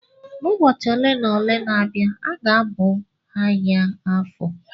N'ubọchị ole na ole na-abịa ga-abụ ahịa Afọ.